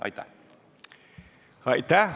Aitäh!